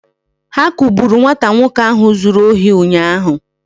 Ha kugburu nwata nwoke ahụ zuru ohi ụnyaahụ